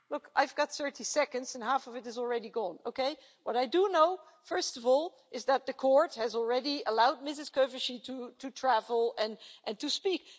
I've got 30 seconds and half of it has already gone. What I do know first of all is that the court has already allowed Ms Kövesi to travel and to speak.